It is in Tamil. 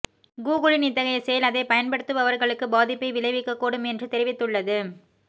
கூகுளின் இத்தகைய செயல் அதைப் பயன்படுத்துபவர்களுக்கு பாதிப்பை விளைவிக்கக்கூடும் என்று தெரிவித்துள்ளது